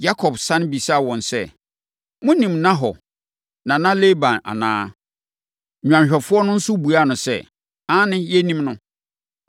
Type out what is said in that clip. Yakob sane bisaa wɔn sɛ, “Monim Nahor nana Laban anaa?” Nnwanhwɛfoɔ no nso buaa no sɛ, “Aane, yɛnim no.”